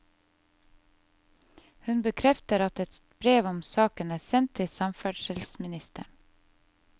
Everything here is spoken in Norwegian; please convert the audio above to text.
Hun bekrefter at et brev om saken er sendt til samferdselsministeren.